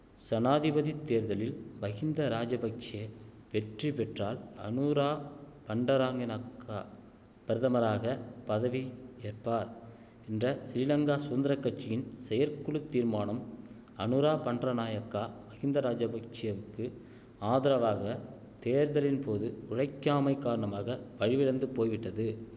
சனாதிபதித் தேர்தலில் மகிந்த ராஜபக்ஷெ வெற்றி பெற்றால் அனுரா அண்டர நாயக்கா பிரதமராக பதவி ஏற்பார் என்ற சிறீலங்கா சுதந்திர கட்சியின் செயற்குழு தீர்மானம் அனுரா பண்டர நாயக்கா மகிந்த ராஜபக்ஷெவுக்கு ஆதரவாக தேர்தலின்போது உழைக்காமைக் காரணமாக வலிவிழந்து போய்விட்டது